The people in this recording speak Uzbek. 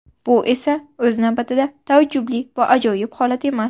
Bu esa, o‘z navbatida, taajubli va ajoyib holat emas.